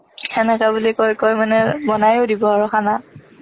সেনেকে বুলি কৈ কৈ মানে বনোয়ো দিব মানে খানা